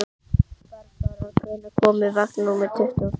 Barbára, hvenær kemur vagn númer tuttugu og fjögur?